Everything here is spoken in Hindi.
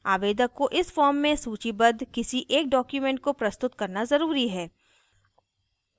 आवेदक को इस form में सूचीबद्ध किसी एक document को प्रस्तुत करना ज़रूरी है